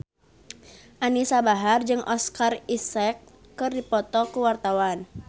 Anisa Bahar jeung Oscar Isaac keur dipoto ku wartawan